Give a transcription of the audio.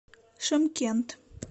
шымкент